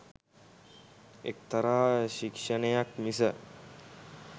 එක්තරා ශික්‍ෂණයක් මිස